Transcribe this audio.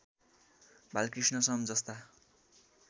बालकृष्ण सम जस्ता